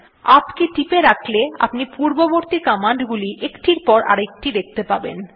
UP কে টিপে রাখলে আপনি পূর্ববর্তী কমান্ড গুলি একটির পর আরেকটি দেখতে পাবেন